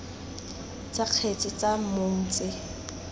tsa kgetse tsa mong tse